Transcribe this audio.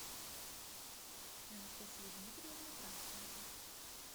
анастасию дмитриевну кравченко